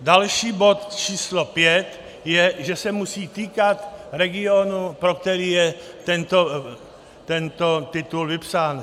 Další bod, číslo pět, je, že se musí týkat regionu, pro který je tento titul vypsán.